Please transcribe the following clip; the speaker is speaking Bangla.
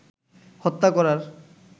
হত্যা করার